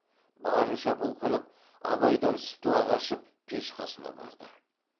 барынша бұлқынып абайдан сытыла қашып пеш қасына барды